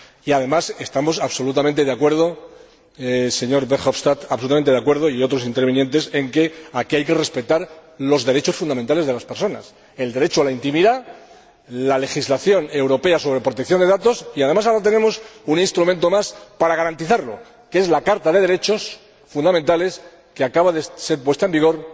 Además, estamos absolutamente de acuerdo, señor Verhofstadt y otros intervinientes, en que aquí hay que respetar los derechos fundamentales de las personas, el derecho a la intimidad, la legislación europea sobre protección de datos y, además, ahora tenemos un instrumento más para garantizarlo, que es la Carta de los Derechos Fundamentales de la Unión Europea, que acaba de entrar en vigor